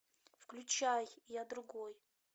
включай я другой